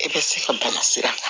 I bɛ se ka bana sira kan